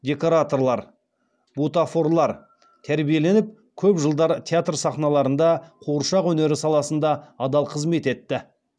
декораторлар бутафорлар тәрбиеленіп көп жылдар театр сахналарында қуыршақ өнері саласында адал қызмет етті